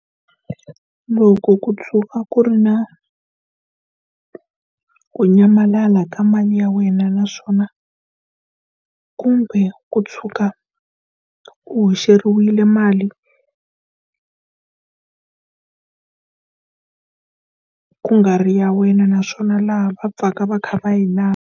Loko ku tshuka ku ri na ku nyamalala ka mali ya wena naswona, kumbe ku tshuka u hoxeriwile mali ku nga ri ya wena, naswona laha va pfaka va kha va hi lava.